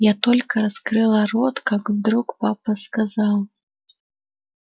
я только раскрыла рот как вдруг папа сказал